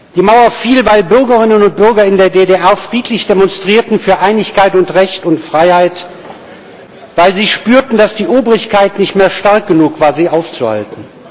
Die Mauer fiel, weil Bürgerinnen und Bürger in der DDR friedlich demonstrierten für Einigkeit und Recht und Freiheit, weil sie spürten, dass die Obrigkeit nicht mehr stark genug war, sie aufzuhalten.